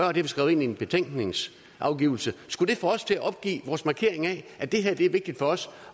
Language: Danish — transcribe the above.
og det er skrevet ind i en betænkning skulle det få os til at opgive vores markering af at det her er vigtigt for os